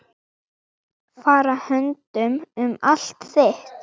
Fara höndum um allt þitt.